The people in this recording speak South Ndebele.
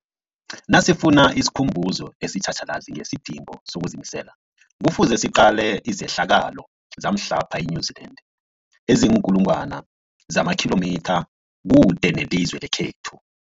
Nasifuna isikhumbuzo esitjhatjhalazi ngesidingo sokuzimisela, Kufuze siqale izehlakalo zamhlapha e-New Zealand eziinkulu ngwana zamakhilomitha kude nelizwe lekhethu.